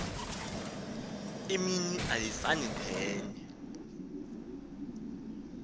imini ayifani nenye